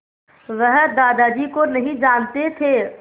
वह दादाजी को नहीं जानते थे